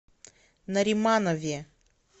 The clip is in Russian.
нариманове